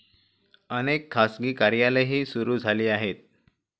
अनेक खासगी कार्यालयेही सुरू झाली आहेत.